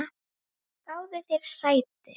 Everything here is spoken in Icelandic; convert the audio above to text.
Afþvíað ég sakna.